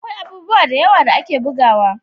Akwai abubuwa da yawa da ake bugawa